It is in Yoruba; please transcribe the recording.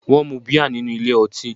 Wón mu bíà nínú ilé ọtí